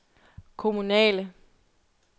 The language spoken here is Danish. kommunale